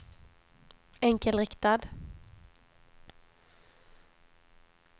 enkelriktad